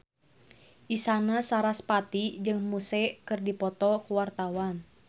Isyana Sarasvati jeung Muse keur dipoto ku wartawan